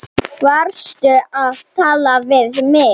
Varstu að tala við mig?